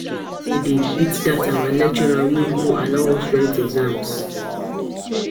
say dey beat dat our lecturer wey no allow us write exam